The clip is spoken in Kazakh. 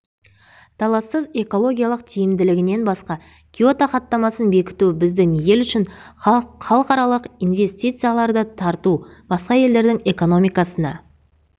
талассыз экологиялық тиімділігінен басқа киото хаттамасын бекіту біздің ел үшін халықаралық инвестицияларды тарту басқа елдердің экономикасына